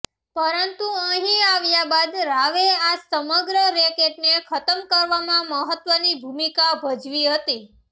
પરંતુ અહીં આવ્યા બાદ રાવે આ સમગ્ર રેકેટને ખતમ કરવામાં મહત્વની ભૂમિકા ભજવી હતી